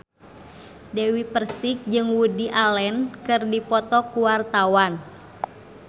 Dewi Persik jeung Woody Allen keur dipoto ku wartawan